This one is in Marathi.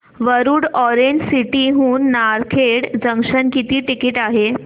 वरुड ऑरेंज सिटी हून नारखेड जंक्शन किती टिकिट आहे